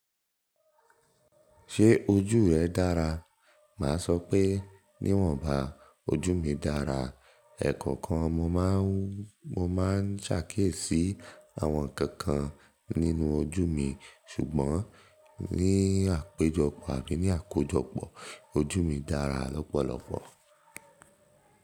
Ṣé ojú rẹ dára? Má a sọ pé níwọ̀nba ojú mi dára. Ẹ̀kọ̀kan mo máa ń, mo ma ń sàkíìsì àwọn ǹkan kan nínú ojú mi. Ṣùgbọ́n ní àpéjọpọ̀ àbí ní àkójọpọ̀ ojú mi dára lọ́pọ̀lọpọ̀.